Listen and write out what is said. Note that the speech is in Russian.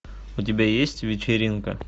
у тебя есть вечеринка